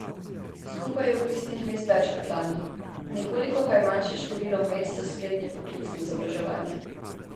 Skupaj je vpisnih mest več kot lani, nekoliko pa je manjše število mest za srednje poklicno izobraževanje.